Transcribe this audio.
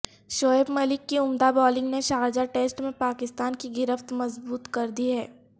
شعیب ملک کی عمدہ بولنگ نے شارجہ ٹیسٹ میں پاکستان کی گرفت مضبوط کردی ہے